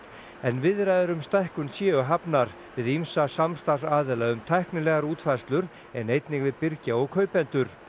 en viðræður um stækkun séu hafnar við ýmsa samstarfsaðila um tæknilegar útfærslur en einnig við birgja og kaupendur